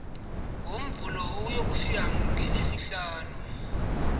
ngomvulo ukuyokufika ngelesihlanu